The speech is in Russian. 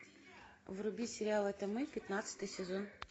вруби сериал это мы пятнадцатый сезон